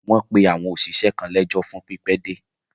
wọ́n pe àwọn òṣìṣẹ́ náà lẹ́jọ́ fún pípẹ́dé.